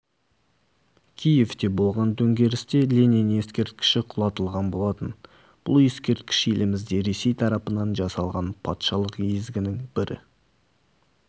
киевте болған төңкерісте ленин ескерткіші құлатылған болатын бұл ескерткіш елімізде ресей тарапынан жасалған патшалық езгінің бір